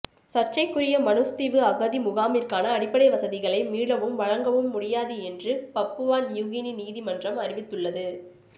சர்ச்சைக்குரிய மனுஸ் தீவு அகதி முகாமிற்கான அடிப்படை வசதிகளை மீளவும் வழங்க முடியாது என்று பப்புவா நியுகினி நீதிமன்றம் அறிவித்துள்ளது